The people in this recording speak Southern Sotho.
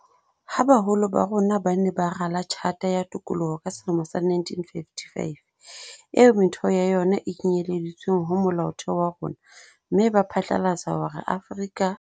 Ha baholo ba rona ba ne ba rala Tjhata ya Tokolo ka selemo sa 1955, eo metheo ya yona e kenyeleditsweng ho Molaotheo wa rona, mme ba phatlalatsa hore Afrika